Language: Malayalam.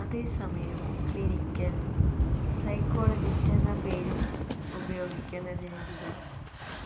അതേസമയം ക്ലിനിക്കല് സൈക്കോളജിസ്റ്റെന്ന പേരുപയോഗിക്കുന്നതിനെതിരെ